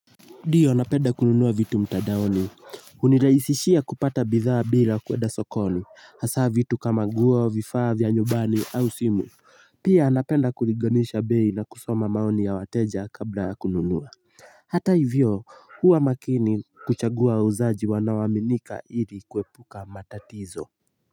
Ndiyo napenda kununua vitu mtandaoni huniraisishia kupata bidhaa bila kuenda sokoni hasa vitu kama nguo vifaa vya nyumbani au simu pia napenda kulinganisha bei na kusoma maoni ya wateja kabla ya kununua hata hivyo huwa makini kuchagua wauzaji wanaoaminika ili kuepuka matatizo.